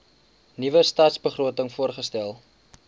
nuwe stadsbegroting voorgestel